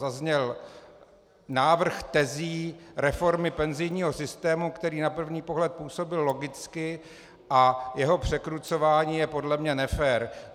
Zazněl návrh tezí reformy penzijního systému, který na první pohled působil logicky, a jeho překrucování je podle mě nefér.